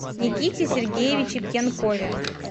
никите сергеевиче пьянкове